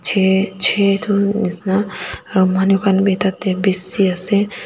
chhe chhe dun nishi na aro manu khan b taitey bisi ase.